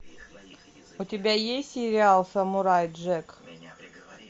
у тебя есть сериал самурай джек